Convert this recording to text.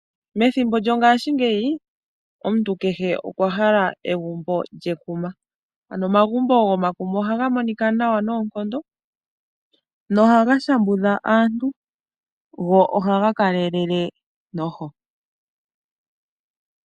Methimbo lyongaashingeyi omuntu kehe okwa hala egumbo lyekuma. Ano omagumbo gomakuma ohaga monika nawa noonkondo nohaga shambudha aantu, go ohaga kalelele noho.